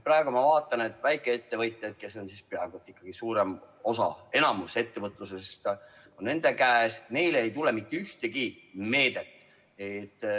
Praegu ma vaatan, et väikeettevõtjatele, keda on ikkagi suurem osa, enamik ettevõtlusest on nende käes, neile ei tule mitte ühtegi meedet.